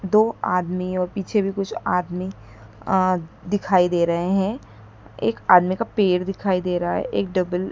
दो आदमियों पीछे भी कुछ आदमी आ दिखाई दे रहे हैं एक आदमी का पेर दिखाई दे रहा है एक डबल --